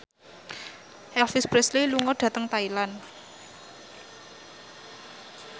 Elvis Presley lunga dhateng Thailand